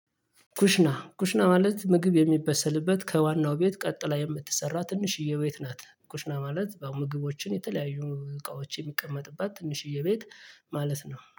ኩሽና ኩሽና ማለት ምግብ የሚበሰልበት ከዋናው ቤት ቀጥላ የምትሰራ ትንሽዬ ቤት ናት። ኩሽና ማለት ምግቦችን የተለያዩ እቃዎች የሚቀመጥባት ትንሽዬ ቤት ማለት ነው